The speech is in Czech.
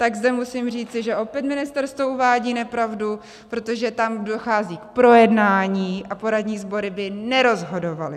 Tak zde musím říci, že opět ministerstvo uvádí nepravdu, protože tam dochází k projednání a poradní sbory by nerozhodovaly.